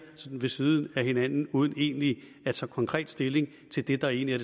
sådan ved siden af hinanden uden egentlig at tage konkret stilling til det der egentlig